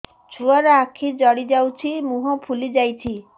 ଛୁଆର ଆଖି ଜଡ଼ି ଯାଉଛି ମୁହଁ ଫୁଲି ଯାଇଛି